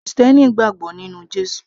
krìstẹ́nì gbàgbọ́ nínú Jésù